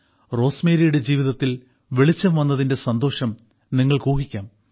റോസ്മേരിയുടെ ജീവിതത്തിൽ വെളിച്ചം വന്നതിന്റെ സന്തോഷം നിങ്ങൾക്ക് ഊഹിക്കാം